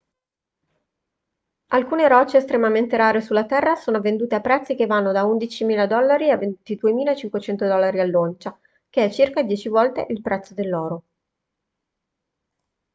alcune rocce estremamente rare sulla terra sono vendute a prezzi che vanno da 11.000 dollari a 22.500 dollari all'oncia che è circa dieci volte il prezzo dell'oro